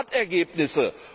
Europa hat Ergebnisse.